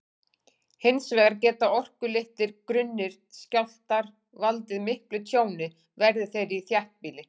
Hins vegar geta orkulitlir, grunnir skjálftar valdið miklu tjóni, verði þeir í þéttbýli.